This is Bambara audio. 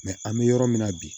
an bɛ yɔrɔ min na bi